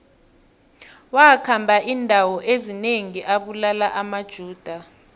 wakhamba indawo ezinengi abulala amajuda